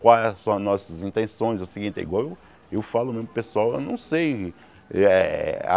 Quais são as nossas intenções, o seguinte, igual eu falo mesmo para o pessoal, eu não sei. Eh ah